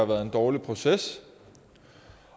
været en dårlig proces